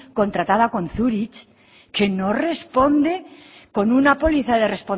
contratado con zurich que no responde con una póliza de